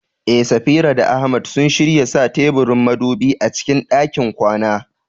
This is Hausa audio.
Eh, Safira da Ahmad sun shirya sa teburin madubi a cikin ɗakin kwana.